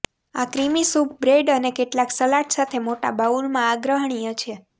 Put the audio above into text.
આ creamy soup bread અને કેટલાક સલાડ સાથે મોટા બાઉલમાં આગ્રહણીય છે